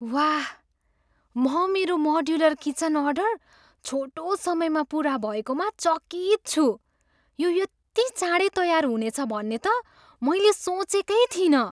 वाह! म मेरो मोड्युलर किचन अर्डर छोटो समयमा पुरा भएकोमा चकित छु। यो यति चाँडै तयार हुनेछ भन्ने त मैले सोचेकै थिइनँ!